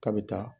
K'a bɛ taa